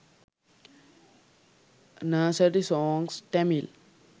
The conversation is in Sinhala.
nursery songs tamil